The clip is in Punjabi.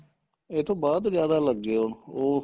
ਇਹ ਤੋਂ ਬਾਅਦ ਜਿਆਦਾ ਲੱਗੇ ਆਉਣ ਉਹ